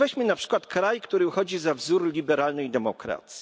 Otóż weźmy na przykład kraj, który uchodzi za wzór liberalnej demokracji.